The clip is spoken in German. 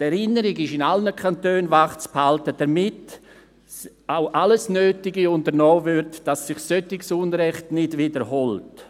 Die Erinnerung ist in allen Kantonen wachzuhalten, damit auch alles Nötige unternommen wird, damit sich solches Unrecht nicht wiederholt.